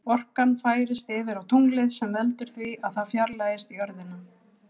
Orkan færist yfir á tunglið sem veldur því að það fjarlægist jörðina.